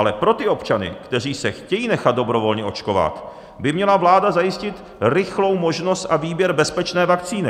Ale pro ty občany, kteří se chtějí nechat dobrovolně očkovat, by měla vláda zajistit rychlou možnost a výběr bezpečné vakcíny.